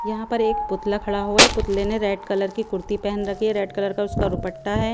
यहाँ पर एक पुतला खड़ा हुआ हैं पुतले ने रेड कलर की कुर्ती पहन रखी हैं रेड कलर का उसका दुपट्टा हैं।